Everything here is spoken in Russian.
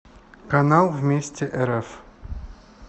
канал вместе рф